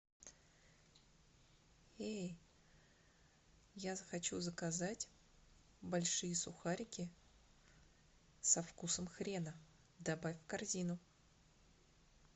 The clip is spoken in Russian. эй я хочу заказать большие сухарики со вкусом хрена добавь в корзину